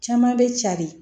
Caman bɛ cari